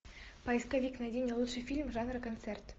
поисковик найди мне лучший фильм жанра концерт